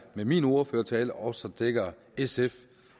med min ordførertale også dækker sf